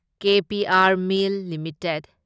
K P R mill limited